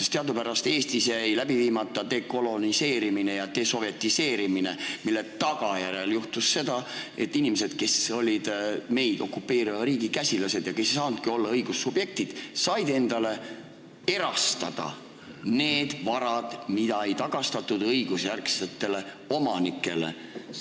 Teadupärast jäi Eestis läbi viimata dekoloniseerimine ja desovetiseerimine, mille tagajärjel juhtus seda, et inimesed, kes olid meid okupeeriva riigi käsilased ja kes ei saanud olla õigustatud subjektid, said erastada varasid, mida ei tagastatud õigusjärgsetele omanikele.